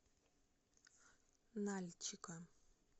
нальчика